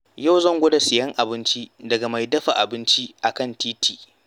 Yau zan gwada sayen abinci daga mai dafa abinci a kan titi.